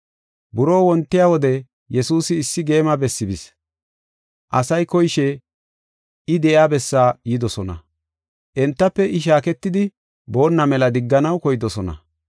Buroo wontiya wode Yesuusi issi geema bessi bis. Asay koyishe I de7iya bessaa yidosona. Entafe I shaaketidi boonna mela digganaw koydosona.